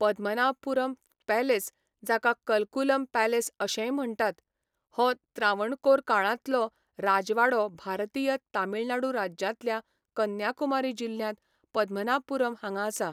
Padmanabhapuram palace, जाका Kalkulam palace अशेंय म्हण्टात, हो त्रावणकोर काळांतलो राजवाडो भारतीय तमिळनाडू राज्यांतल्या कन्याकुमारी जिल्ह्यांत पद्मनाभपुरम हांगा आसा.